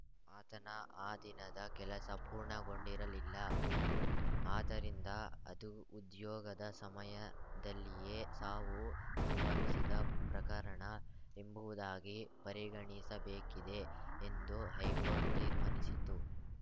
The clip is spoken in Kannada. ಆತನ ಆ ದಿನದ ಕೆಲಸ ಪೂರ್ಣಗೊಂಡಿರಲಿಲ್ಲ ಆದ್ದರಿಂದ ಅದು ಉದ್ಯೋಗದ ಸಮಯದಲ್ಲಿಯೇ ಸಾವು ಸಂಭವಿಸಿದ ಪ್ರಕರಣ ಎಂಬುವುದಾಗಿ ಪರಿಗಣಿಸಬೇಕಿದೆ ಎಂದು ಹೈಕೋರ್ಟ್‌ ತೀರ್ಮಾನಿಸಿತು